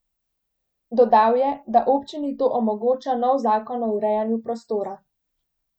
Dodal je, da občini to omogoča nov zakon o urejanju prostora.